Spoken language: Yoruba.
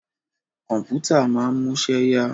Kọ̀mpútà máa ń múṣẹ́ yá.